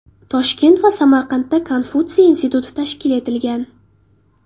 Toshkent va Samarqandda Konfutsiy instituti tashkil etilgan.